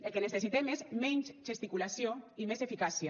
el que necessitem és menys gesticulació i més eficàcia